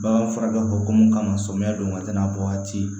Bagan fara dɔ ko mun kama samiya don ka tɛna bɔ waati